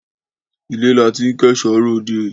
Ilé la tí ń kẹ́ṣọ ròde